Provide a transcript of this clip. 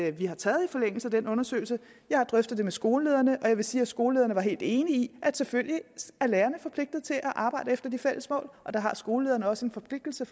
at vi har taget i forlængelse af den undersøgelse jeg har drøftet det med skolelederne og jeg vil sige at skolelederne var helt enige i at selvfølgelig er lærerne forpligtede til at arbejde efter de fælles mål og der har skolelederne også en forpligtelse